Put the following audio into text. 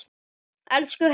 Elsku Heiða amma.